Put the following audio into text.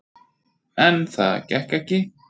En það gekk ekki.